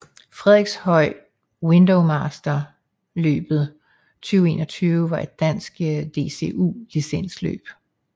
Frederikshøj Windowmaster løbet 2021 var et dansk DCU licensløb